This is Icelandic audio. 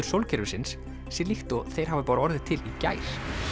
sólkerfisins sé líkt og þeir hafi bara orðið til í gær